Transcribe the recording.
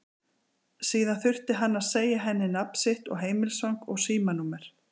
Síðan þurfti hann að segja henni nafn sitt og heimilisfang og símanúmer.